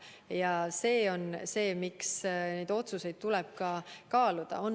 Ja see on see põhjus, miks neid otsuseid tuleb kaaluda.